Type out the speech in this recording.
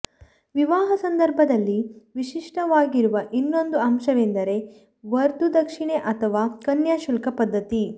ವಿವಾಹ ಸಂದರ್ಭದಲ್ಲಿ ವಿಶಿಷ್ಟವಾಗಿರುವ ಇನ್ನೊಂದು ಅಂಶವೆಂದರೆ ವಧುದಕ್ಷಿಣೆ ಅಥವಾ ಕನ್ಯಾಶುಲ್ಕ ಪದ್ಧತಿ